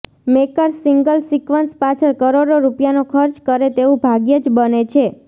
makers single sequence પાછળ કરોડો રૂપિયાનો ખર્ચ કરે તેવું ભાગ્યે જ બને છે